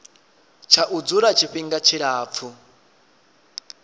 tsha u dzula tshifhinga tshilapfu